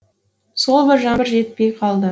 сол бір жаңбыр жетпей қалды